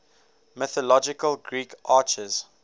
mythological greek archers